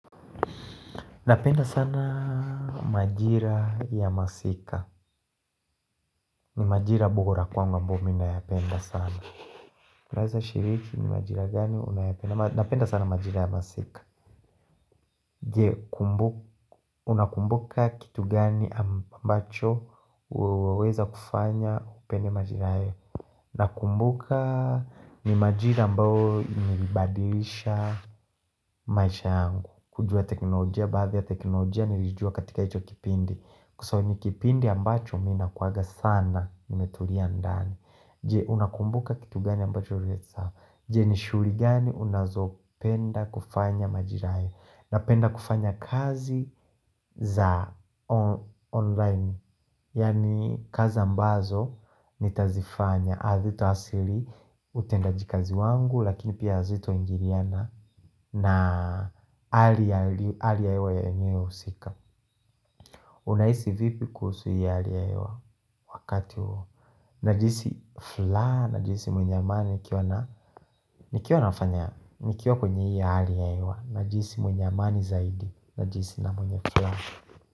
Napenda sana majira ya masika ni majira bora kwangu ambayo minayapenda sana Unaweza shiriki ni majira gani unayapenda Napenda sana majira ya masika Je, unakumbuka kitu gani ambacho Uweweza kufanya upende majira hayo Unakumbuka ni majira ambayo ilibadilisha maisha yangu kujua teknolojia, baadhi ya teknolojia nilijua katika hicho kipindi Kwa sababu ni kipindi ambacho mina kuanga sana nimetulia ndani Je unakumbuka kitu gani ambacho ureza Je ni shughuli gani unazo penda kufanya majira hayo na penda kufanya kazi za online Yani kazi ambazo ni tazifanya Hazita asili utenda jikazi wangu Lakini pia hazito ingiliana na hali ya hewa ya enyewe husika Unahisi vipi kuhusu hii halia ya hewa Wakati huo Najisi furaha Najihisi mwenye amani nikiwa nafanya nikiwa kwenye hii hali ya hewa Najihisi mwenye amani zaidi Najisi na mwenye furaha.